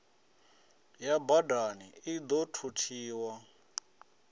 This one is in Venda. ya badani i ḓo thuthiwa